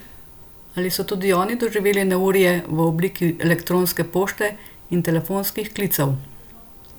Ali so tudi oni doživeli neurje v obliki elektronske pošte in telefonskih klicev?